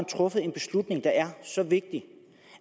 truffet en beslutning der er så vigtig